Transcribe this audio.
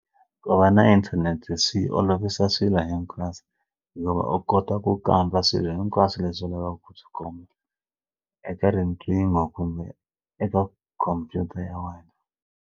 Ku va na inthanete swi olovisa swilo hinkwaso yo va u kota ku kamba swilo hinkwaswo leswi u lavaka ku swi kuma eka riqingho kumbe eka khompyuta ya wena.